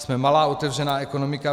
Jsme malá otevřená ekonomika.